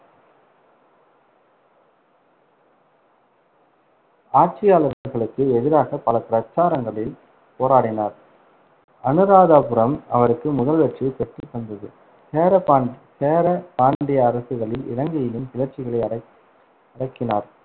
ஆட்சியாளர்களுக்கு எதிராக பல பிரச்சாரங்களில் போராடினார். அனுராதாபுரம், அவருக்கு முதல் வெற்றியை பெற்றுத் தந்தது. சேரபா~ சேர, பாண்டிய அரசுகளில் இலங்கையிலும் கிளர்ச்சிகளை அடக்~ அடக்கினார்.